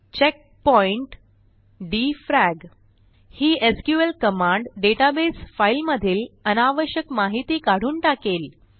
checkpoint defrag ही SQL command database फाईलमधील अनावश्यक माहिती काढून टाकेल